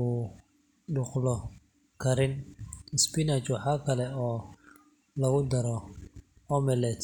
u dulqaadan karin. Spinach waxaa kale oo lagu daro omelet.